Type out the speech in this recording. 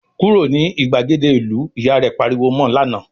"Kúrò ní ìgbàgede ìlú!", Ìyá rẹ̀ pariwo mọ lánàá